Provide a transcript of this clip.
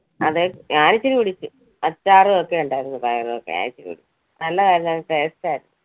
അതെ ഞാൻ ഇച്ചിരി കുടിച്ചു. അച്ചാറും ഒക്കെ ഉണ്ടായിരുന്നു, പയറും ഒക്കെ ഞാൻ ഇച്ചിരി കുടിച്ച് നല്ലതായിരുന്നു നല്ല taste ആയിരുന്നു.